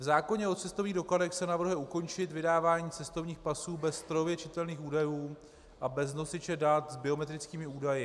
V zákoně o cestovních dokladech se navrhuje ukončit vydávání cestovních pasů bez strojově čitelných údajů a bez nosiče dat s biometrickými údaji.